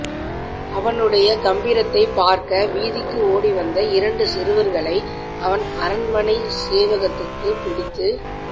அவனுடைய கம்பீரத்தைப் பார்க்க வீதிக்கு ஓடிவந்த இஆரண்டு சிறுவர்களை அவன் அரண்மனை சேவகத்துக்கு பிடித்துப்